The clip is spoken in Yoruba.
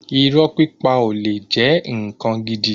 Irọ́ pípa ò le jẹ́ ǹkan gidi.